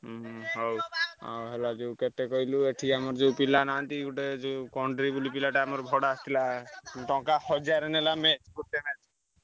ହୁଁ ହଉ ଯୋଉ କେତେ କହିଲୁ ଏଠି ଆମର ଯୋଉ ପିଲା ନାହାନ୍ତି ଗୋଟେ ବୋଲି ପିଲାଟା ଆମର ଭଡା ଆସିଥିଲା ଟଙ୍କା ହଜାର ନେଲା match ଗୋଟେ match